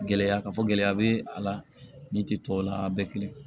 Gɛlɛya ka fɔ gɛlɛya be a la ni ti tɔw la a bɛɛ kelen